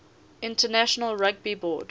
international rugby board